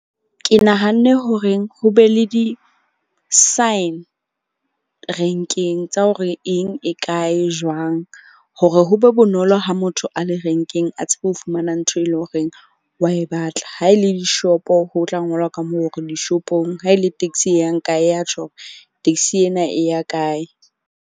Ke nahanne horeng ho be le di-sign renkeng tsa hore eng e kae jwang, hore ho be bonolo ha motho a le renkeng. A tsebe ho fumana ntho e leng horeng wa e batla. Ha e le di-shop-o, ho tla ngola ka moo hore di-shop-ong. Ha e le taxi e yang kae ya tjho hore taxi ena e ya kae.